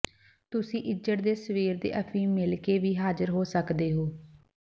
ਤੁਸੀਂ ਇੱਜੜ ਦੇ ਸਵੇਰ ਦੇ ਅਫੀਮ ਮਿਲਕੇ ਵੀ ਹਾਜ਼ਰ ਹੋ ਸਕਦੇ ਹੋ